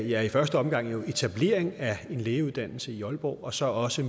ja i første omgang jo etablering af en lægeuddannelse i aalborg og så også